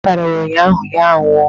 Agwọ́ tara ya ụnyụahụ, ya a nwụọ.